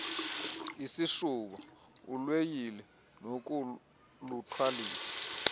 isishuba ilweyile nokuluthwalisa